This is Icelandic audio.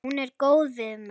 Hún er góð við mig.